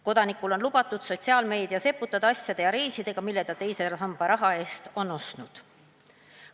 Kodanikul on lubatud sotsiaalmeedias eputada asjade ja reisidega, mille ta teise samba raha eest ostnud on.